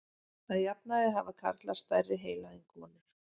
Að jafnaði hafa karlar stærri heila en konur.